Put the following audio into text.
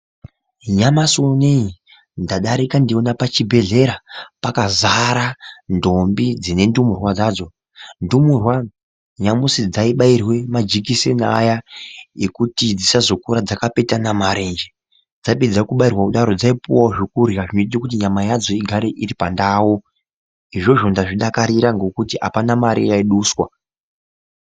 Nyamashi uneyi ndadarika ndeiona pachibhedhlera pakazara ndombi dzine ndumurwa dzadzo. Ndumurwa nyamusi dzaibairwe majikiseni aya ekuti dzisazokura dzakapetana marenje. Dzapedza kubairwa kudaro dzaipuwawo zvekurya zvinoita kuti nyama yadzo igare iri pandau. Izvozvo ndazvidakarira ngokuti hapana mari yaiduswa.